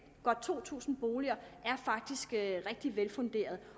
godt to tusind boliger er faktisk rigtig velfunderet